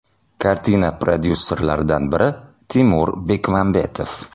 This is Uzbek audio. Kartina prodyusserlaridan biri Timur Bekmambetov.